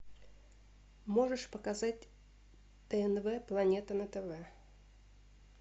можешь показать тнв планета на тв